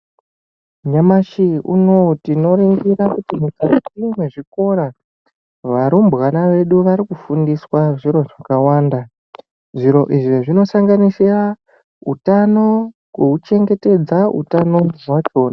Nyamashi unou tinoringira kuti mukati mwezvikora varumbwana vedu arikufundiswa zviro zvakawanda zviro izvi zvinosanganisira utano nekuuchengetedza utano hwachona.